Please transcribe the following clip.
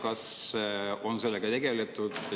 Ja kas on sellega tegeletud?